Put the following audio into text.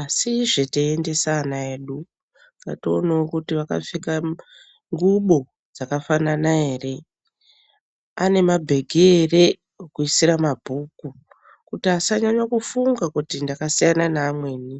asizve teiendesa ana edu ngationewo kuti akapfeka ngubo dzakafanana ere ane mabhegi ere ekuisire mabhuku kuitire kuti asanyanyakufunga kuti ndakasiyana neamweni.